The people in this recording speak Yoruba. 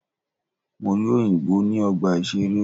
Mo rí òyìnbó ní ọgbà ìṣeré.